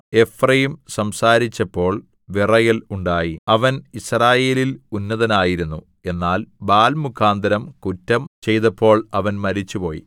Ephraim സംസാരിച്ചപ്പോൾ വിറയൽ ഉണ്ടായി അവൻ യിസ്രായേലിൽ ഉന്നതനായിരുന്നു എന്നാൽ ബാല്‍ മുഖാന്തരം കുറ്റം ചെയ്തപ്പോൾ അവൻ മരിച്ചുപോയി